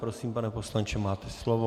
Prosím, pane poslanče, máte slovo.